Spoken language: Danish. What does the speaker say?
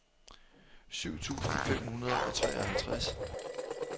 syv tusind fem hundrede og treoghalvtreds